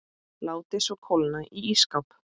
Látið svo kólna í ísskáp.